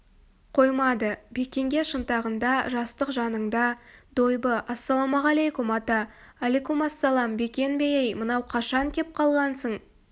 қоймады бекенге шынтағында жастық жаныңда дойбы ассалаумағалейкум ата әликумассалам бекен бе ей мынау қашан кеп қалғансың